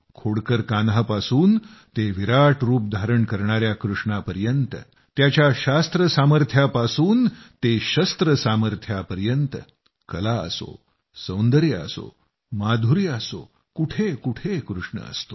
खोडकर कान्हापासून ते विराट रूप धारण करणाया कृष्णापर्यंत त्याच्या शास्त्र सामर्थ्यापासून ते शस्त्र सामर्थ्यापर्यंत कला असो सौंदर्य असो माधुर्य असो कुठं कुठं कृष्ण असतो